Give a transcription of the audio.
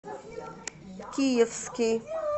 киевский